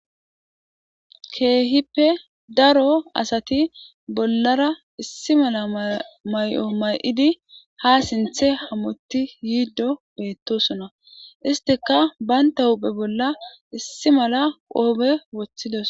Kehippe daro asati bollara issi mala mayo mayidi ha sinthe hamotti yiiddo beettosuna istika baynta huphe bolla issi mala qoobe woththidos